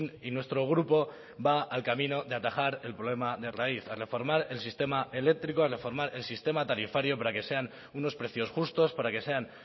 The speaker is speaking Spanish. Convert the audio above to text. y nuestro grupo va al camino de atajar el problema de raíz a reformar el sistema eléctrico a reformar el sistema tarifario para que sean unos precios justos para que sean